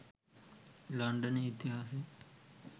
ලන්ඩනයේ ඉතිහාසය